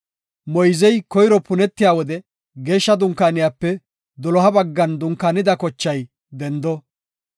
Moyzey koyro punetiya wode Geeshsha Dunkaaniyape doloha baggan dunkaanida kochay dendo.